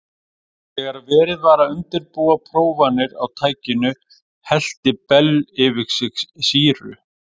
Þegar verið var að undirbúa prófanir á tækinu hellti Bell yfir sig sýru.